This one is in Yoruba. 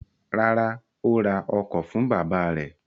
Rárá, ó ra ọkọ̀ fún bàbá rẹ̀.